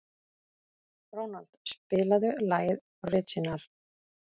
Ronald, spilaðu lagið „Orginal“.